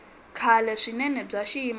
kahle swinene bya xiyimo xa